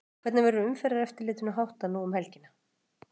Hvernig verður umferðareftirlitinu háttað nú um helgina?